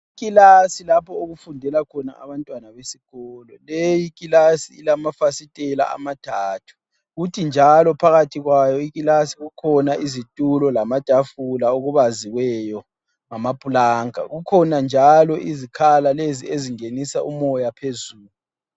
Ikilasi lapho okufundela khona abantwana besikolo leyi ikilasi ilamafasitela amathathu, kuthi njalo phakathi kwayo ikilasi kukhona izitulo lamatafula okubaziweyo ngamaplanka, kukhona njalo izikhala lezi ezingenisa umoya phezulu.